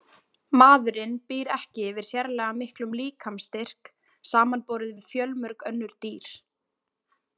Maðurinn býr ekki yfir sérlega miklum líkamsstyrk samanborið við fjölmörg önnur dýr.